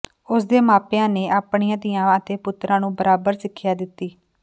ਉਸ ਦੇ ਮਾਪਿਆਂ ਨੇ ਆਪਣੀਆਂ ਧੀਆਂ ਅਤੇ ਪੁੱਤਰਾਂ ਨੂੰ ਬਰਾਬਰ ਸਿੱਖਿਆ ਦਿੱਤੀ